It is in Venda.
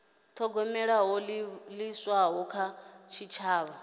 thogomela ho livhiswaho kha tshitshavha